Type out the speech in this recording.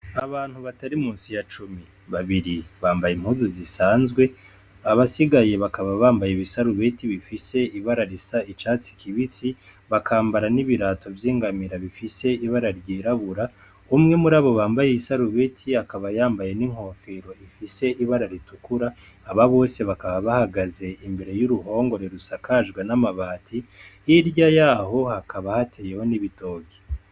Abantu batari musi ya cumi babiri bambaye impuzu zisanzwe abasigaye bakaba bambaye ibisarubeti bifise ibara risa icatsi kibisi bakambara n'ibirato vy'ingamira bifise ibara ryirabura umwe mur'abo bambaye isarubeti akaba yambaye n'inkofero ifise ibara ritukura aba bose bakaba bahagaze imbere y'uruhongore rusakajwe n'amabati hirya yaho hakaba hateyeho n'ibitoke.